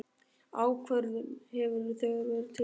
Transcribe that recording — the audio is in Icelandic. Ákvörðun hefur þegar verið tekin.